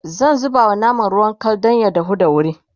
zan zubawa naman ruwan Kal Dan ya dahu da wuri